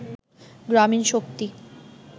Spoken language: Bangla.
গ্রামীন শক্তি